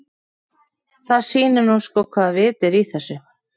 Það sýnir nú sko hvaða vit er í þessu.